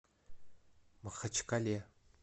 махачкале